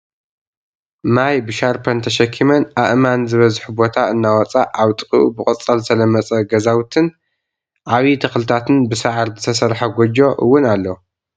ማይ ብ ሻርፐን ተሽኪምን ኣእማን ዝበዝሑ ቦታ እናውፃ ኣብ ጥቂኡ ብቆፃል ዝተለመፀ ግዛዉቲን ዓብይ ተክልታትን ብሳዕሪ ዝተሰርሐ ጎጆ እዉን ኣሎ።